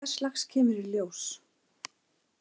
Hvers lags kemur í ljós.